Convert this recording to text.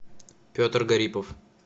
петр гарипов